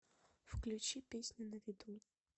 включи песню на виду